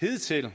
hidtil